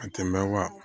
A tɛmɛ wa